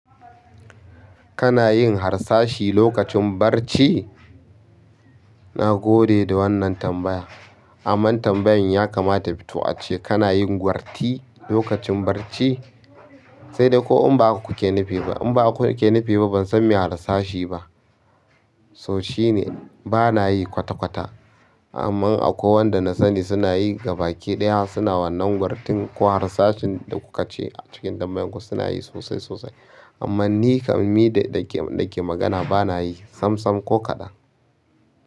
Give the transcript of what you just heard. Kana yin harsashi lokacin barci? Na gode da wannan tambaya. Amman tambayan ya kamata to ace kana yin gwarti lokacin barci? Sedai ko in ba haka kuke nufi ba, inba haka kuke nufi ba bansan me harsashi ba so shine bana yi kwata-kwata. Amma akwai wanda na sani suna yi gabakiɗaya suna wannan gwartin ko harsashin da kuka ce cikin tambayan ku suna yi sosai sosai. Amma ni kam ni da ke magana bana yi sam sam ko kaɗan.